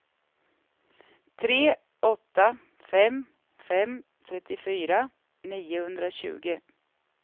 tre åtta fem fem trettiofyra niohundratjugo